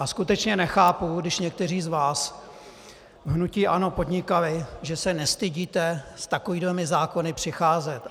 A skutečně nechápu, když někteří z vás v hnutí ANO podnikali, že se nestydíte s takovýmihle zákony přicházet.